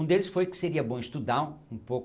Um deles foi que seria bom estudar um pouco